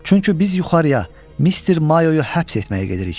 Çünki biz yuxarıya Mr. Mayonunu həbs etməyə gedirik.